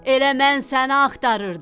Elə mən səni axtarırdım.